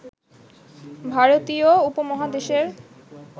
ভারতীয় উপমহাদেশের